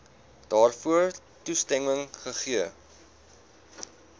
daarvoor toestemming gegee